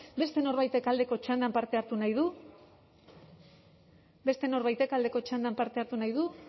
beste norbaitek aldeko txandan parte hartu nahi du beste norbaitek aldeko txandan parte hartu nahi du